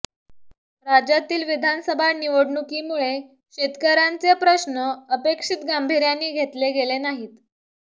राज्यातील विधानसभा निवडणुकीमुळे शेतकऱ्यांचे प्रश्न अपेक्षित गांभिर्याने घेतले गेले नाहीत